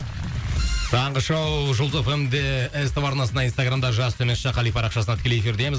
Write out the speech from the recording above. таңғы шоу жұлдыз эф эм де ств арнасында инстаграмда жас төмен сызықша қали парақшасында тікелей эфирдеміз